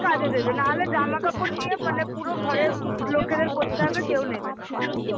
কাজে দেবে না হলে জামা কাপড় নিয়ে মানে পুরো ঘরের লোকেদের পড়তে হবে কেউ নেবে না